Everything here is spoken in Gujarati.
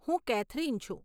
હું કેથરિન છું.